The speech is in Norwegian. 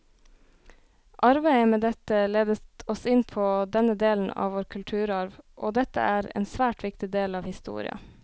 Arbeidet med dette ledet oss inn på denne delen av vår kulturarv, og dette er en svært viktig del av historia.